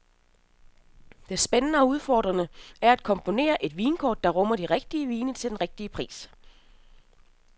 Det spændende og udfordrende er at komponere et vinkort, der rummer de rigtige vine til den rigtige pris.